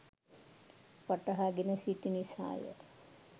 වටහා ගෙන සිටි නිසාය.